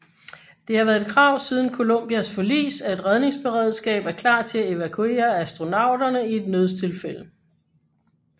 Det har været et krav siden Columbias forlis at et redningsberedskab er klar til at evakuere astronauterne i et nødstilfælde